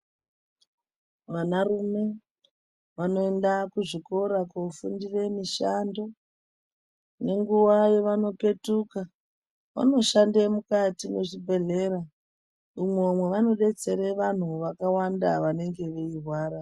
Vanarume vanoenda kuzvikora kofundire mishando. Nenguwa yavanopetuka vanoshande mukati mwezvibhedhlera umwo mwavanodetsera vantu vakawanda vanenge veirwara.